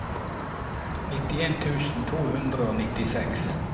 nittien tusen to hundre og nittiseks